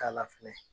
K'a la fɛnɛ